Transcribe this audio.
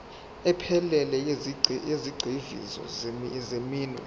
ephelele yezigxivizo zeminwe